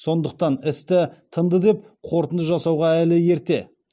сондықтан істі тынды деп қорытынды жасауға әлі ерте